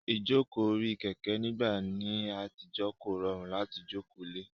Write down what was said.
Ìjókòó orí Kẹ̀kẹ́ nígbà ní àtijọ́ kò rọrùn láti jókòó le